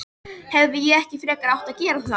Hefði ég ekki frekar átt að gera það?